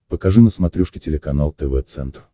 покажи на смотрешке телеканал тв центр